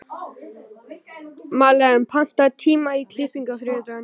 Malen, pantaðu tíma í klippingu á þriðjudaginn.